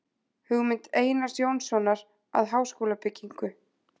Hugmynd Einars Jónssonar að háskólabyggingu.